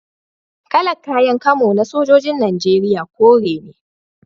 Kalar kayan kamo na sojojin Najeriya kore ne